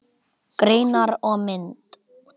Greinar og mynd